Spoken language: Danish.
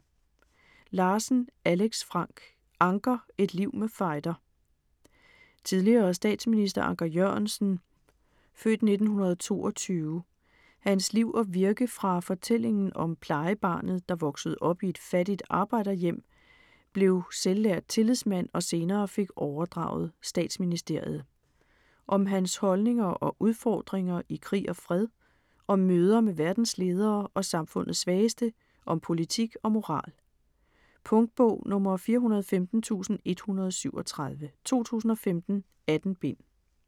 Larsen, Alex Frank: Anker: et liv med fejder Tidligere statsminister Anker Jørgensens (f. 1922) liv og virke fra fortællingen om plejebarnet, der voksede op i et fattigt arbejderhjem, blev selvlært tillidsmand og senere fik overdraget statsministeriet. Om hans holdninger og udfordringer i krig og fred, om møder med verdens ledere og samfundets svageste, om politik og moral. Punktbog 415137 2015. 18 bind.